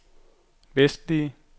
vestlige